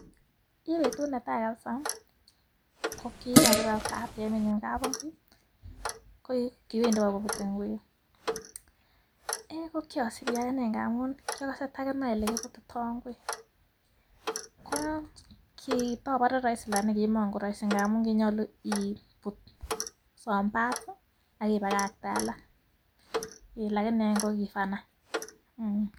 Kibetut netai kabisa ko kikakibe ak batieminyu kapingui, ko kiwendi bikoputei ingwek. Ko kiasibi akine ngamun kia kose taginai olekiputitoi ingwek. Ko kitabore rahisi lakini kimakorahisi ngamun kinyolu iput some parts akipagakte alak. Lakini an kokoi fun any mm.